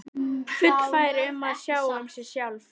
Fullfær um að sjá um mig sjálf.